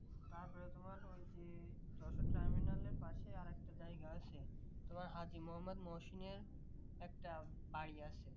তারপরে তোমার ওই যে যশোর terminal পাশে আরেকটা জায়গা আছে তোমার হাজী মোহাম্মদ মহসিনের একটা বাড়ি আছে